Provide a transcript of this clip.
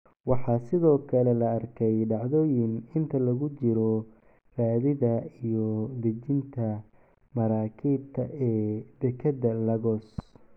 Waxaa sidoo kale la arkay dhacdooyin inta lagu jiro raridda iyo dejinta maraakiibta ee dekedda Lagos.